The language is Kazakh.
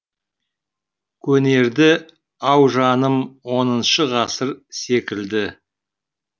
көнерді ау жаным оныншы ғасыр секілді